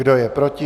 Kdo je proti?